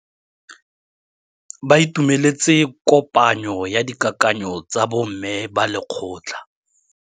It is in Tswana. Ba itumeletse kôpanyo ya dikakanyô tsa bo mme ba lekgotla.